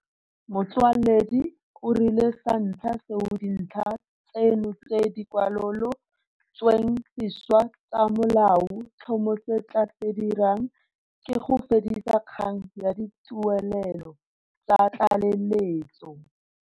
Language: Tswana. Motsoaledi o rile sa ntlha seo dintlha tseno tse di kwalolo tsweng sešwa tsa Molao tlhomo se tla se dirang ke go fedisa kgang ya dituelelo tsa tlaleletso.